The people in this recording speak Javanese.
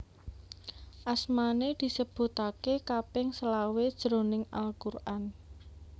Asmané disebutaké kaping selawe jroning Al Quran